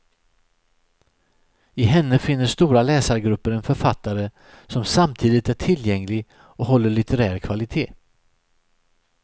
I henne finner stora läsargrupper en författare som samtidigt är tillgänglig och håller litterär kvalitet.